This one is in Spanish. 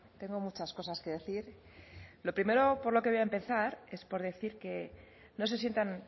tengo muchas cosas que decir lo primero por lo que voy a empezar es por decir que no se sientan